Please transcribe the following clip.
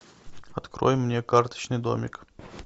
открой мне карточный домик